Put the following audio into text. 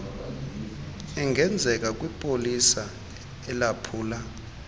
engenzeka kwipolisa elaphula